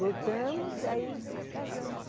Voltamos, aí casamos.